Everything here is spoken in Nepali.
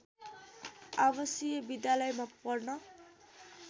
आवासिय विद्यालयमा पढ्न